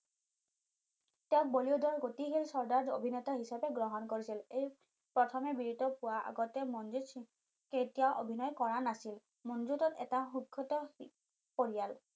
তেও বলিউডৰ গতিশিল চৰ্ডাৰ অভিনেতা হিচাপে গ্ৰহণ কৰিছিল এই প্ৰথমে ভিডিঅটো পোৱাৰ আগতে মনজুট সিং কেতিয়াও অভিনয় কৰা নাছিল মনজুট এটা পৰিয়াল